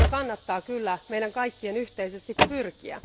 Siihen kannattaa kyllä meidän kaikkien yhteisesti pyrkiä.